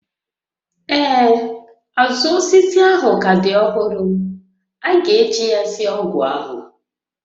Ee, azụ osisi ahụ ka dị ọhụrụ, a ga-eji ya sie ọgwụ ahụ